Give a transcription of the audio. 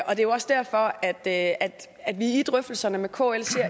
er jo også derfor at at vi i drøftelserne med kl ser